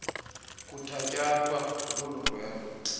kuthatyathwa lolu ndwendwe